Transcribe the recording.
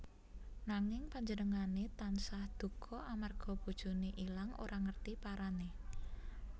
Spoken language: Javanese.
Nanging panjenengané tansah duka amarga bojoné ilang ora ngerti parané